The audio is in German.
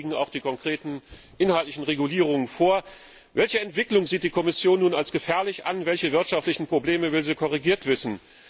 Inzwischen liegen auch die konkreten inhaltlichen Regulierungen vor. Welche Entwicklungen sieht die Kommission nun als gefährlich an, welche wirtschaftlichen Probleme will Sie korrigiert wissen?